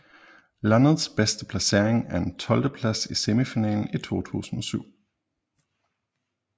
Landets bedste placering er en tolvteplads i semifinalen i 2007